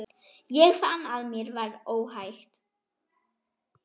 Ég fann að mér var óhætt.